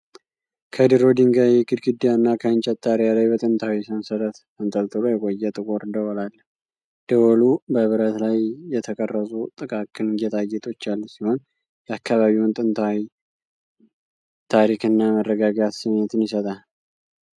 ከድሮ ድንጋይ ግድግዳ እና ከእንጨት ጣሪያ ላይ በጥንታዊ ሰንሰለት ተንጠልጥሎ የቆየ ጥቁር ደወል አለ። ደወሉ በብረት ላይ የተቀረጹ ጥቃቅን ጌጣጌጦች ያሉት ሲሆን፣ የአካባቢውን ጥንታዊ ታሪክ እና መረጋጋት ስሜት ይሰጣል።